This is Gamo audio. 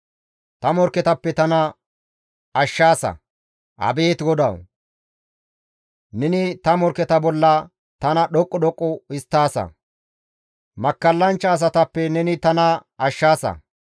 Ta morkketappe tana ashshaasa; Abeet GODAWU! Neni ta morkketa bolla tana dhoqqu dhoqqu histtaasa; makkallanchcha asatappe neni tana ashshaasa.